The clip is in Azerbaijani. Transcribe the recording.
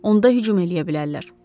Onda hücum eləyə bilərlər.